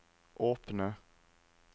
åpne